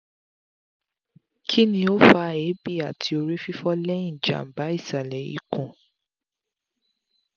kini o fa eebi ati orífífọ́ lẹ́hìn jamba isalẹ̀ ikun?